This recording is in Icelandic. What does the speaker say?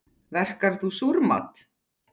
Verkar þú súrmat?